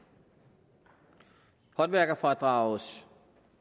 håndværkerfradragets